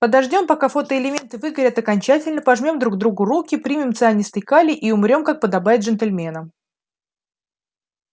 подождём пока фотоэлементы выгорят окончательно пожмём друг другу руки примем цианистый калий и умрём как подобает джентльменам